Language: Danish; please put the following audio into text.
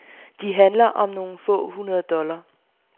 De handler om nogle få hundrede dollar.